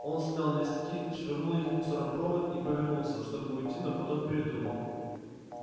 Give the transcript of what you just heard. он смял листки швырнул их в мусоропровод и повернулся чтобы уйти но потом передумал